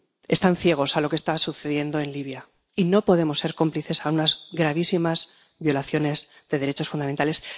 Están ciegos a lo que está sucediendo en Libia, y no podemos ser cómplices de unas gravísimas violaciones de derechos fundamentales.